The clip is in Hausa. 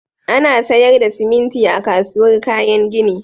Ana sayar da siminti a kasuwar kayan gini.